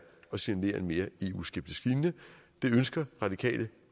at signalere en mere eu skeptisk linje det ønsker radikale